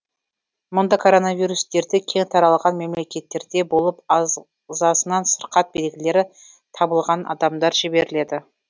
мұнда коронавирус дерті кең таралған мемлекеттерде болып ағзасынан сырқат белгілері табылған адамдар жіберіледі